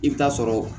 I bɛ taa sɔrɔ